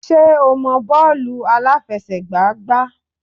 Ṣé o mọ bọ́ọ̀lù àláfẹsẹ̀gbá gbá?